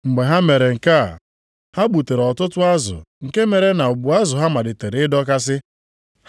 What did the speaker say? Mgbe ha mere nke a, ha gbutere ọtụtụ azụ nke mere na ụgbụ azụ ha malitere ịdọkasị.